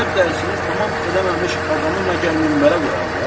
Ərəb dərsini tamam eləməmiş adamı məgər minbərə qoyarlar?